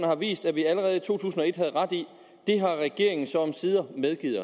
har vist at vi allerede i to tusind og et havde ret i det har regeringen så omsider medgivet